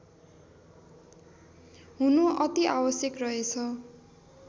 हुनु अति आवश्यक रहेछ